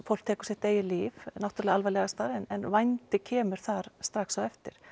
fólk tekur sitt eigið líf náttúrulega alvarlegasta en vændi kemur þar strax á eftir